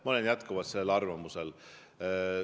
Ma olen jätkuvalt sellel arvamusel.